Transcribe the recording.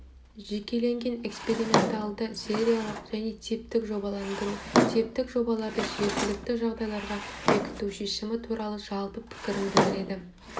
жекеленген эксперименталды сериялық және типтік жобаландыру типтік жобаларды жергілікті жағдайларға бекіту шешімі туралы жалпы пікірін білдіреді